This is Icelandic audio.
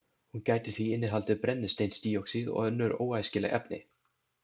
Hún gæti því innihaldið brennisteinsdíoxíð og önnur óæskileg efni.